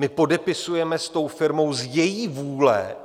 My podepisujeme s tou firmou z její vůle